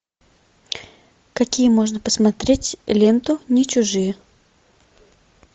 какие можно посмотреть ленту не чужие